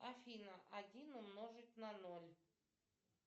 афина один умножить на ноль